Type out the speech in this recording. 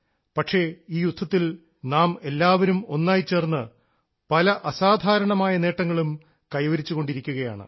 പക്ഷേ ഈ യുദ്ധത്തിൽ നാം എല്ലാവരും ഒന്നായി ചേർന്ന് പല അസാധാരണമായ നേട്ടങ്ങളും കൈവരിച്ചുകൊണ്ടിരിക്കുകയാണ്